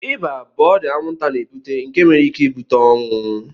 ịba bụ ọrịa anwụnta na-ebute nke nwere ike ibute ọnwụ